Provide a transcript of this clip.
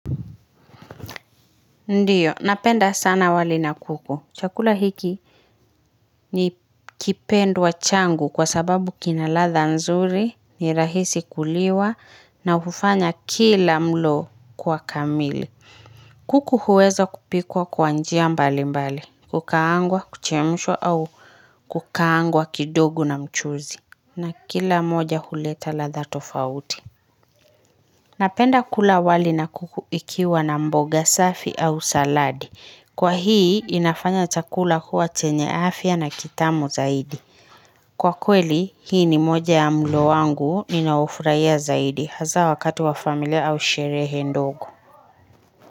Ndiyo, napenda sana wali na kuku. Chakula hiki ni kipendwa changu kwa sababu kina ladha nzuri, ni rahisi kuliwa na hufanya kila mlo kuwa kamili. Kuku huweza kupikwa kwa njia mbali mbali. Kukaangwa, kuchemshwa au kukaangwa kidogo na mchuzi. Na kila moja huleta ladha tofauti. Napenda kula wali na kuku ikiwa na mboga safi au saladi. Kwa hii inafanya chakula kuwa chenye afya na kitamu zaidi. Kwa kweli hii ni moja ya mlo wangu ninaofurahia zaidi hasa wakati wa familia au sherehe ndogo.